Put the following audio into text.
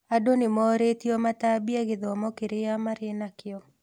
Andũ nĩmorĩtio matambie gĩthomo kĩrĩa marĩ nakĩo